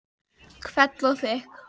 Hvell og þykk.